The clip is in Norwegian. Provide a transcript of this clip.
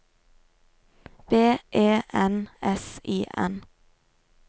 B E N S I N